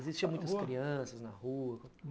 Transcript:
Existiam muitas crianças na rua?